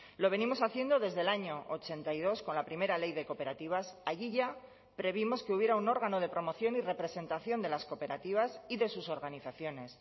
lo venimos haciendo desde el año ochenta y dos con la primera ley de cooperativas allí ya previmos que hubiera un órgano de promoción y representación de las cooperativas y de sus organizaciones